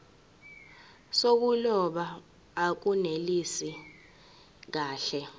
zokuloba akunelisi kahle